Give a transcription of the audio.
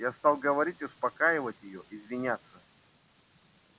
я стал говорить успокаивать её извиняться